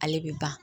Ale bɛ ban